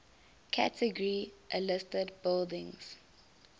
category a listed buildings